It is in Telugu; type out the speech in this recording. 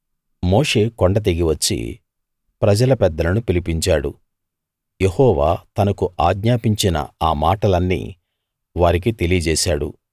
మోషే కొండ దిగి వచ్చి ప్రజల పెద్దలను పిలిపించాడు యెహోవా తనకు ఆజ్ఞాపించిన ఆ మాటలన్నీ వారికి తెలియజేశాడు